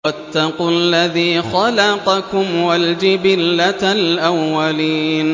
وَاتَّقُوا الَّذِي خَلَقَكُمْ وَالْجِبِلَّةَ الْأَوَّلِينَ